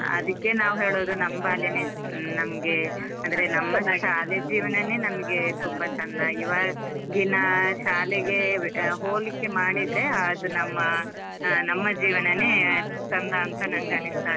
ಅದಿಕ್ಕೆ ನಾವ್ ಹೇಳುದು ನಮ್ ಬಲ್ಯಾನೆ ನಮ್ಗೆ ಅಂದ್ರೆ ನಮ್ಮ ಶಾಲೆ ಜೀವನನೇ ನಮ್ಗೆ ತುಂಬ ಚಂದ, ಇವಾಗಿನ ಶಾಲೆಗೆ ಹೋಲಿಕೆ ಮಾಡಿದ್ರೆ ಅದು ನಮ್ಮಾ ನಮ್ಮ ಜೀವನನೇ ಚಂದ ಅಂತ ನನ್ಗೆ ಅನಿಸ್ತಾ ಇದೆ.